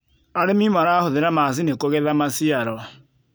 arĩmi marahuthira macinĩ kugetha maciaro